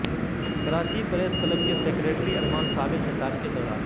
Karachi press club کے secretary Arman Sabir خطاب کے دوران